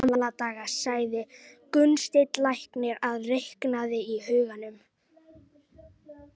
Í gamla daga, sagði Gunnsteinn læknir og reiknaði í huganum.